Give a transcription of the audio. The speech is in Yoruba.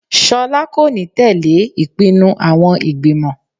Sola kò ní tẹ̀lẹ́ ìpinnu àwọn ìgbìmọ̀.